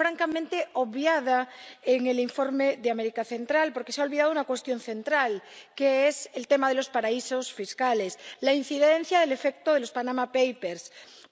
francamente obviada en el informe sobre América Central, porque se ha olvidado una cuestión central, que es el tema de los paraísos fiscales y la incidencia del efecto de los papeles de Panamá.